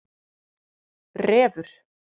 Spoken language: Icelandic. Refur